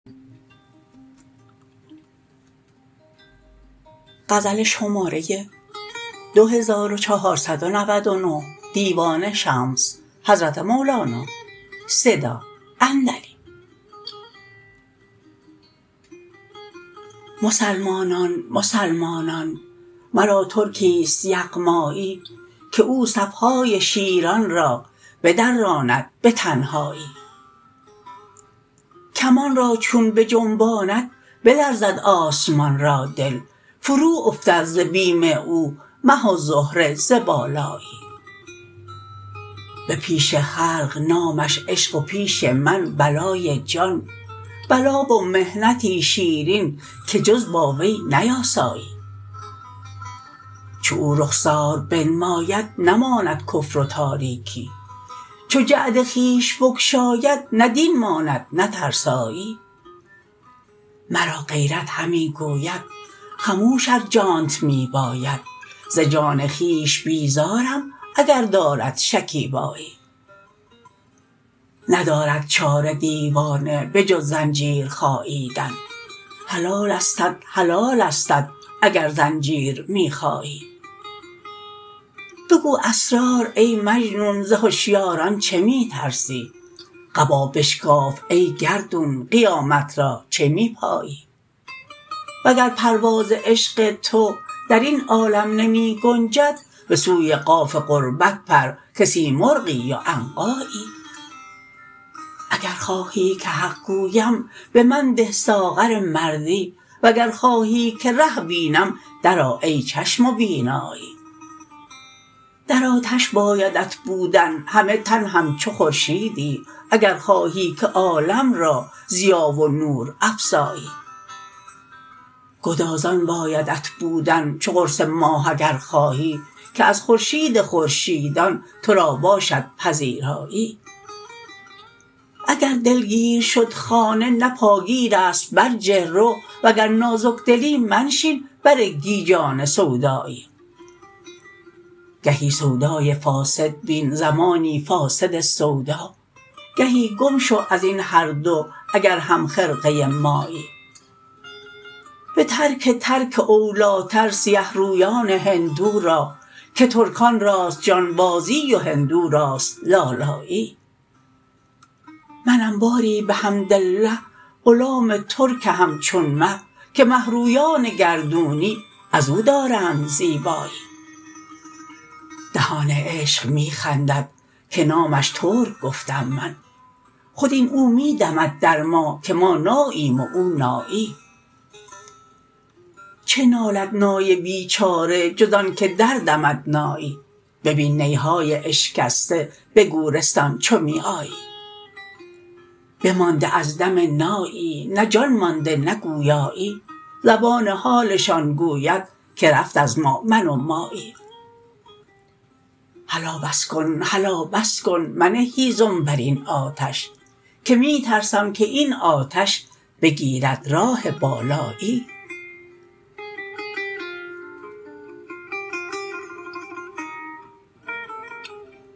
مسلمانان مسلمانان مرا ترکی است یغمایی که او صف های شیران را بدراند به تنهایی کمان را چون بجنباند بلرزد آسمان را دل فروافتد ز بیم او مه و زهره ز بالایی به پیش خلق نامش عشق و پیش من بلای جان بلا و محنتی شیرین که جز با وی نیاسایی چو او رخسار بنماید نماند کفر و تاریکی چو جعد خویش بگشاید نه دین ماند نه ترسایی مرا غیرت همی گوید خموش ار جانت می باید ز جان خویش بیزارم اگر دارد شکیبایی ندارد چاره دیوانه به جز زنجیر خاییدن حلالستت حلالستت اگر زنجیر می خایی بگو اسرار ای مجنون ز هشیاران چه می ترسی قبا بشکاف ای گردون قیامت را چه می پایی وگر پرواز عشق تو در این عالم نمی گنجد به سوی قاف قربت پر که سیمرغی و عنقایی اگر خواهی که حق گویم به من ده ساغر مردی وگر خواهی که ره بینم درآ ای چشم و بینایی در آتش بایدت بودن همه تن همچو خورشیدی اگر خواهی که عالم را ضیا و نور افزایی گدازان بایدت بودن چو قرص ماه اگر خواهی که از خورشید خورشیدان تو را باشد پذیرایی اگر دلگیر شد خانه نه پاگیر است برجه رو وگر نازک دلی منشین بر گیجان سودایی گهی سودای فاسد بین زمانی فاسد سودا گهی گم شو از این هر دو اگر همخرقه مایی به ترک ترک اولیتر سیه رویان هندو را که ترکان راست جانبازی و هندو راست لالایی منم باری بحمدالله غلام ترک همچون مه که مه رویان گردونی از او دارند زیبایی دهان عشق می خندد که نامش ترک گفتم من خود این او می دمد در ما که ما ناییم و او نایی چه نالد نای بیچاره جز آنک دردمد نایی ببین نی های اشکسته به گورستان چو می آیی بمانده از دم نایی نه جان مانده نه گویایی زبان حالشان گوید که رفت از ما من و مایی هلا بس کن هلا بس کن منه هیزم بر این آتش که می ترسم که این آتش بگیرد راه بالایی